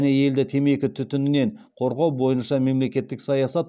елді темекі түтінінен қорғау бойынша мемлекеттік саясат